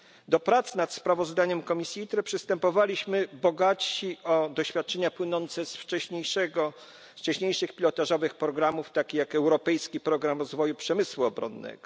Do prac nad sprawozdaniem komisji ITRE przystępowaliśmy bogatsi o doświadczenia płynące z wcześniejszych pilotażowych programów takich jak europejski program rozwoju przemysłu obronnego.